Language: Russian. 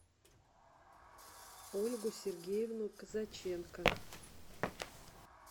ольгу сергеевну казаченко